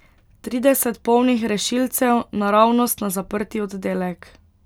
Trideset polnih rešilcev, naravnost na zaprti oddelek.